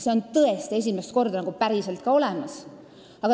See on tõesti esimest korda päriselt olemas.